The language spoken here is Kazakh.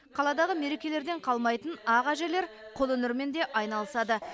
қаладағы мерекелерден қалмайтын ақ әжелер қолөнермен де айналысады